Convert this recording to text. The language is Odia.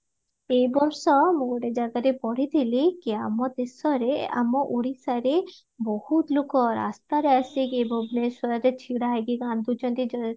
ଏଇ ବର୍ଷ ମୁଁ ଗୋଟେ ଜାଗାରେ ପଢିଥିଲି କି ଆମ ଦେଶରେ ଆମ ଓଡିଶାରେ ବହୁତ ଲୋକ ରାସ୍ତାରେ ଆସିକି ଭୁବନେଶ୍ଵରରେ ଛିଡା ହେଇକି କାନ୍ଦୁଚନ୍ତି